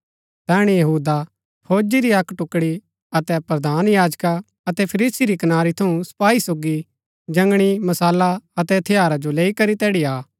तैहणै यहूदा फौजी री अक्क टुकड़ी अतै प्रधान याजका अतै फरीसी री कनारी थऊँ सपाई सोगी जंगणी मशाला अतै हथियारा जो लैई करी तैड़ी आ